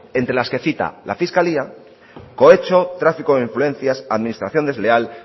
entre las que cita la fiscalía cohecho tráfico de influencias administración desleal